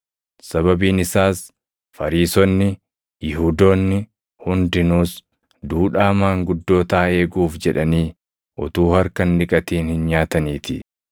Sababiin isaas Fariisonni, Yihuudoonni hundinuus duudhaa maanguddootaa eeguuf jedhanii utuu harka hin dhiqatin hin nyaataniitii.